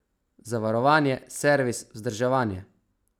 Zavarovanje, servis, vzdrževanje ...